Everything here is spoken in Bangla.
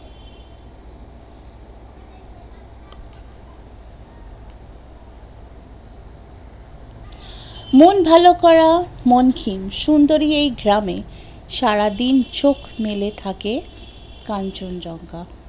মন ভালো করা মানকিন সুন্দর এই গ্রামে সারাদিন চোখ মেলে থাকে কাঞ্চন জঙ্ঘা